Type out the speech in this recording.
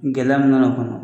Gɛlɛya min nan'o kɔnɔ